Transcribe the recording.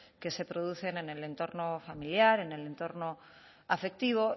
que se producen en el entorno familiar en el entorno afectivo